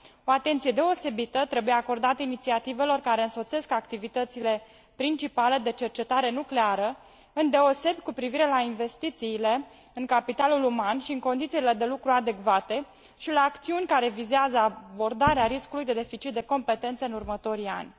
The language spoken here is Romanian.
O atenție deosebită trebuie acordată inițiativelor care însoțesc activitățile principale de cercetare nucleară, îndeosebi cu privire la investițiile în capitalul uman și în condițiile de lucru adecvate și la acțiuni care vizează abordarea riscului de deficit de competențe în următorii ani.